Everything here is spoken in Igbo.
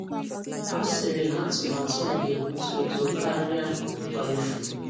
Ọ sịrị na atụmatụ a ga-ebute udo karịa karịa nkwa efu.